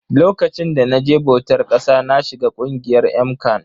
Lokacin da na je bautar ƙasa na shiga ƙungiyar MCAN